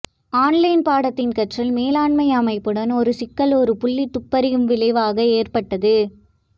online பாடத்தின் கற்றல் மேலாண்மை அமைப்புடன் ஒரு சிக்கல் ஒரு புள்ளி துப்பறியும் விளைவாக ஏற்பட்டது